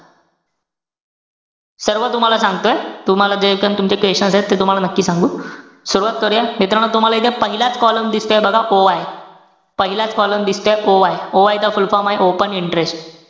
सर्व तुम्हाला सांगतोय, तुम्हाला जेपण तुमचे questions एत, ते तुम्हाला नक्की सांगू. सुरवात करूया. मित्रांनो तुम्हाला हे जे पहिलाच coloumn दिसतोय बघा, OI. पहिलाच coloumn दिसतोय OI. OI चा full form ए open interest.